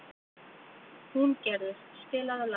Húngerður, spilaðu lag.